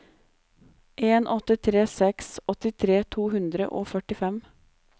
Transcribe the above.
en åtte tre seks åttitre to hundre og førtifem